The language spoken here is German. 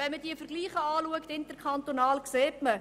Wenn man sich die interkantonalen Vergleiche anschaut, sieht man,